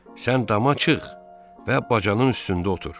Sən dama çıx və bacanın üstündə otur.